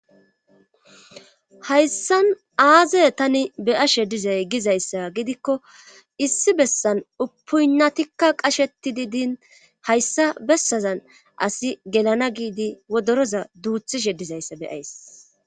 hayssan aaze tani beyashe dizay gizayssa gidikko issi bessan upunnatikka qashetidi diin hayssa bessazan asi gelana giidi wodoroza duuthishe dizayssa beyays